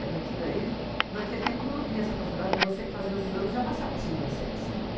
É porque, naquele tempo, não havia essa possibilidade de você fazer os exames e já passar para a segunda série. Sim.